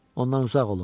Ondan uzaq olun.